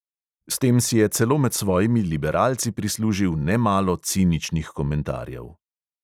S tem si je celo med svojimi liberalci prislužil nemalo ciničnih komentarjev.